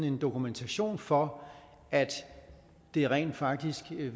en dokumentation for at det rent faktisk vil